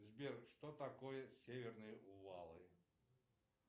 сбер что такое северные увалы